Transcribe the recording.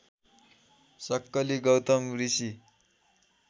सक्कली गौतम ऋषि